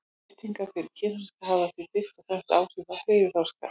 Lyftingar fyrir kynþroska hafa því fyrst og fremst áhrif á hreyfiþroska.